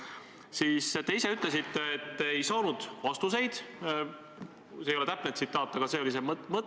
Aga see on ju teie nõuanne: mätsime kinni, oleme vait, las olla halvasti.